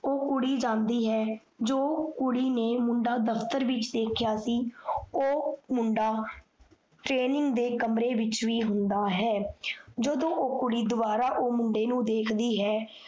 ਓਹ ਕੁੜੀ ਜਾਂਦੀ ਹੈ। ਜੋ ਕੁੜੀ ਨੇ ਮੁੰਡਾ ਦਫਤਰ ਵਿੱਚ ਦੇਖੇਆ ਸੀ, ਓਹ ਮੁੰਡਾ training ਦੇ ਕਮਰੇ ਵਿੱਚ ਵੀ ਹੁੰਦਾ ਹੈ। ਜਦੋਂ ਓਹ ਕੁੜੀ ਦੋਬਾਰਾ ਓਹ ਮੁੰਡੇ ਨੂੰ ਦੇਖਦੀ ਹੈ